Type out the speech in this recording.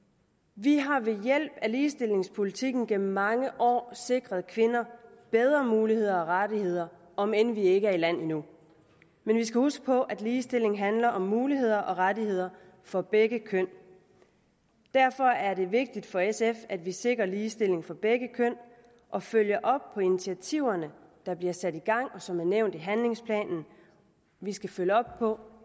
vi har ved hjælp af ligestillingspolitikken gennem mange år sikret kvinder bedre muligheder og rettigheder om end vi ikke er i land endnu men vi skal huske på at ligestilling handler om muligheder og rettigheder for begge køn derfor er det vigtigt for sf at vi sikrer ligestilling for begge køn og følger op på de initiativer der bliver sat i gang og som er nævnt i handlingsplanen vi skal følge op på